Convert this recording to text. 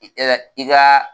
I ka